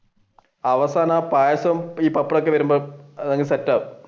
അവസാനം ആ പായസം ഈ പപ്പടം ഒക്കെ വരുമ്പോൾ set ആവും.